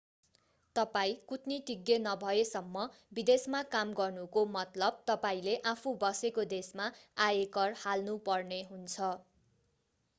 तपाईं कूटनीतिज्ञ नभएसम्म विदेशमा काम गर्नुको मतलब तपाईंले आफू बसेको देशमा आयकर हाल्नु पर्ने हुन्छ